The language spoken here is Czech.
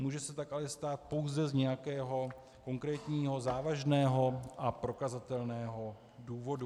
Může se tak ale stát pouze z nějakého konkrétního závažného a prokazatelného důvodu.